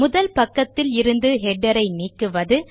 முதல் பக்கத்தில் இருந்து ஹெடர் களை நீக்குவது